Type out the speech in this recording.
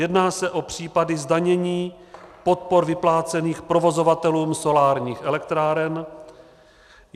Jedná se o případy zdanění podpor vyplácených provozovatelům solárních elektráren.